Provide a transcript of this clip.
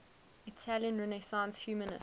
italian renaissance humanists